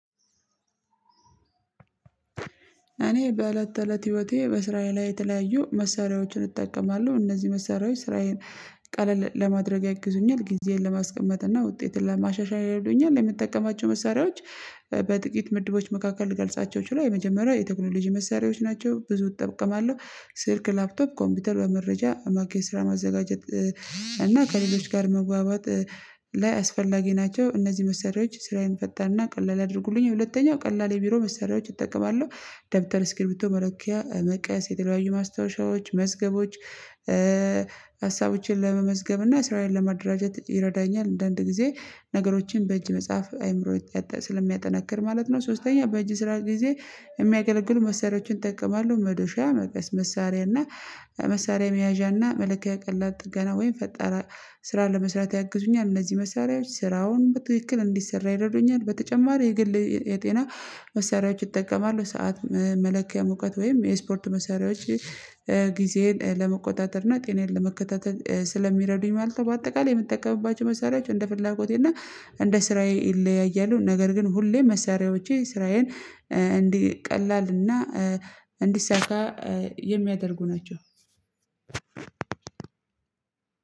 እኔ በእለት ተእለት ህይወቴ በስራዬ ላይ የተለያዩ መሰሪያዎችን እጠቀማለሁ እነዚህ መሳሪያዎች ስራዬን ቀለል ለማድረግ ያግዙኛል ጊዜዬን ለማስቀመጥ እና ውጤትን ለማሻሻል ያረዱኛል። የምትጠቀማቸው መሳሪያዎች በጥቂት ምድቦች መካከል ልገልጻቸው ችሏል። የመጀመሪያው የቴክኖሎጂ መሳሪያዎች ናቸው ብዙ እጠብቅማለሁ ስልክ ላፕቶፕ ኮምፒውተር በመረጃ ማራኪ ስራ ማዘጋጀት እና ከሌሎች ጋር መጓባት ላይ አስፈላጊ ናቸው። እነዚህ መሰሪያዎች ስራዬን ፈጣንናና ቀላል የድርጉልኝ ሁለተኛው ቀላል የቢሮ መሳሪያዎች እጠቀማለሁ ደብተር ስክሪፕቶ መለኪያ መቀስ የተለያዩ ማስታወሻዎች መዝገቦች ሀሳቦችን ለመመዝገብ እና ስራዬን ለማደራጀት ይረዳኛል። እንዳ አንድ ጊዜ ነገሮችን በእጅ መጽሐፍ አይምሮዬ ስለሚያጠነክር ማለት ነው። ሶስተኛ በእጅ ስራ ጊዜ የሚያገለግሉ መሰሪያዎችን እጠቀማለሁ መዶሻ መቀስ መሳሪያ እና መሳሪያ መያዣ እና መለኪያ ቀላል ጥገና ወይም ፈጣራ ስራ ለመስራት ያግዙኛል እነዚህ መሳሪያዎች ስራውን በትክክል እንዲሰራ ይረዱኛል። በተጨማሪ የግል የጤና መሳሪያዎች ይጠቀማሉ ሰዓት መለኪያ ሙቀት ወይም የስፖርት መሳሪያዎች ጊዜን ለመቆጣጠር እና ጤናዬን ለመከታተል ስለሚረዱኝ ማለት ነው። በአጠቃላይ የምትጠቀምባቸው መሳሪያቸው እንደ ፍላጎቴ እና እንደ ስራዬ ይለያያሉ። ነገር ግን ሁሌ መሳሪያዎቼ ስራዬን እንዲ ቀላልና እንዲሳካ የሚያደርጉ ናቸው።